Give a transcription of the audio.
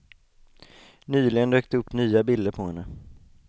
Nyligen dök det upp nya bilder på henne.